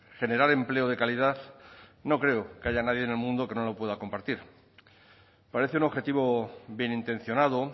generar empleo de calidad no creo que haya nadie en el mundo que no lo pueda compartir parece un objetivo bien intencionado